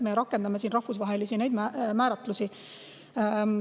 Me rakendame siin rahvusvahelisi määratlusi.